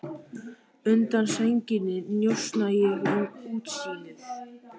Undan sænginni njósna ég um útsýnið.